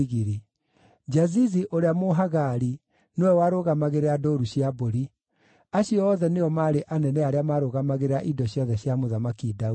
Jazizi ũrĩa Mũhagari nĩwe warũgamagĩrĩra ndũũru cia mbũri. Acio othe nĩo maarĩ anene arĩa marũgamagĩrĩra indo ciothe cia Mũthamaki Daudi.